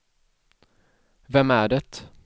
vem är det